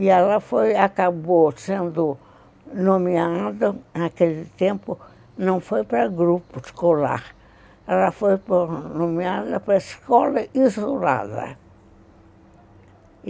E ela acabou sendo nomeada, naquele tempo, não foi para grupo escolar, ela foi nomeada para escola isolada.